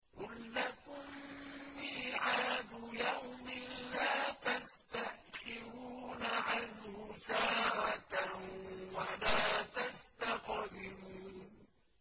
قُل لَّكُم مِّيعَادُ يَوْمٍ لَّا تَسْتَأْخِرُونَ عَنْهُ سَاعَةً وَلَا تَسْتَقْدِمُونَ